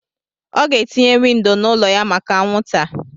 Ọ ga-etinye windo n'ụlọ ya maka anwụnta.